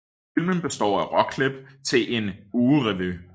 Filmen består af råklip til en ugerevy